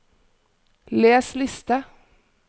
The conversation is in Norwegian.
les liste